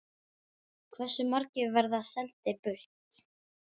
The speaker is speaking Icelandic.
Hversu margir verða seldir burt?